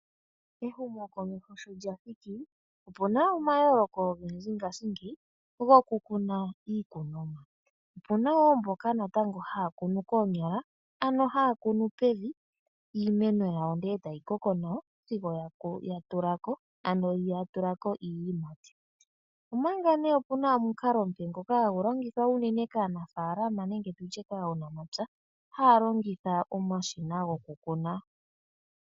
Ehumokomeho sho dja thiki opuna omayooloko ogendji ngashingeyi gokukuna iikunomwa. Opuna woo mboka natango haya kunu koonyala ano haya kunu pevi iimeno yawo ndele etayi koko nawa sigo yatulako iiyimati. Omanga ne opuna omukalo omupe ngoka hagu longithwa uunene kaanafalama nenge tutye kaanamapya haya longitha omashina gokukuna.